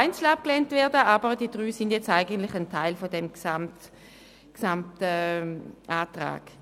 Aber die drei Zumieten sind jetzt eigentlich Teil des Gesamtantrags.